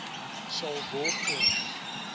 sal word en